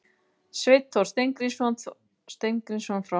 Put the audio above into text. Sveinn Þór Steingrímsson frá Hamar